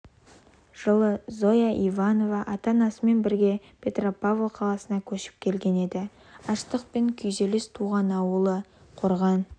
жылы зоя иванова ата-анасымен бірге петропавл қаласына көшіп келген еді аштық пен күйзеліс туған ауылы қорған